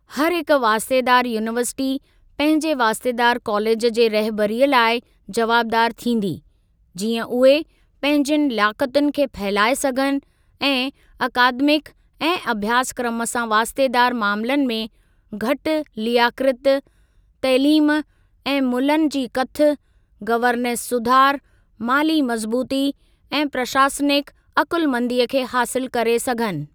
हरहिक वास्तेदार यूनीवर्सिटी पंहिंजे वास्तेदार कॉलेज जे रहिबरीअ लाइ जवाबदार थींदी, जीअं उहे पंहिंजियुनि लियाक़तुनि खे फहिलाए सघनि ऐं अकादमिक ऐं अभ्यासक्रम सां वास्तेदार मामलनि में घटि लियाकृत, तइलीम ऐं मुल्हनि जी कथ, गवर्नेस सुधार, माली मज़बूती ऐं प्रशासनिक अकुलमंदीअ खे हासिल करे सघनि।